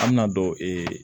An bɛna don